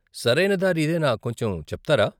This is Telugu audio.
సరయిన దారి ఇదేనా కొంచెం చెప్తారా?